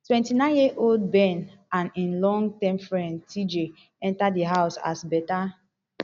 twenty-nine years old ben and im long term friend tjay enta di house as beta